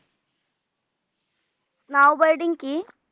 কি?